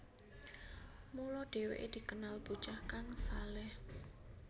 Mula dheweke dikenal bocah kang shaleh